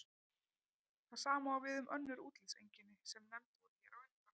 Það sama á við um önnur útlitseinkenni sem nefnd voru hér á undan.